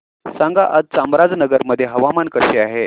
सांगा आज चामराजनगर मध्ये हवामान कसे आहे